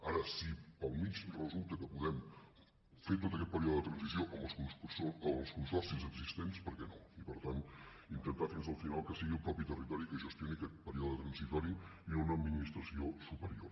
ara si pel mig resulta que podem fer tot aquest període de transició amb els consorcis existents per què no i per tant intentar fins al final que sigui el mateix territori qui gestioni aquest període transitori i una administració superior